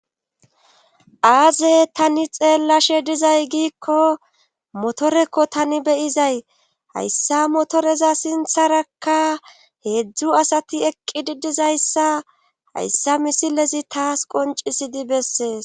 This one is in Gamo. Aaze tani xeellashe dizay giikko motorekko tani beyizay hayssa motoreza sintharakka heedzdzu asati eqqidi dizayssa hayssa misilezi taas qoncisidi bessees.